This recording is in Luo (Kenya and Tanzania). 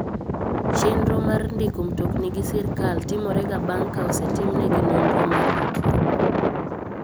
Chenro mar ndiko mtokni gi sirkal timore ga bang ka osetimnegi nonro mar ritruok.